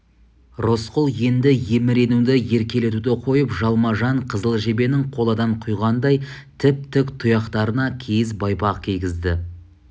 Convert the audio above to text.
рысқұл енді еміренуді еркелетуді қойып жалма-жан қызыл жебенің қоладан құйғандай тіп-тік тұяқтарына киіз байпақ кигізді